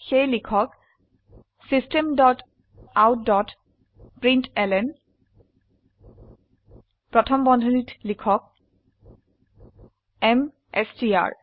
সেয়ে লিখক system dot out dot println প্ৰথম বন্ধনীত লিখক এমএছটিআৰ